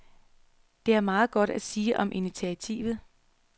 Der er meget godt at sige om initiativet.